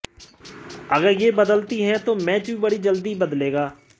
अगर यह बदलती है तो मैच भी बड़ी जल्दी बदलेगा